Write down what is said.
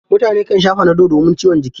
Mutane kan sha fanadol domin ciwon jiki.